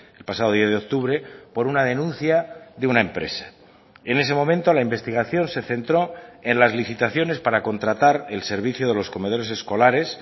el pasado diez de octubre por una denuncia de una empresa en ese momento la investigación se centró en las licitaciones para contratar el servicio de los comedores escolares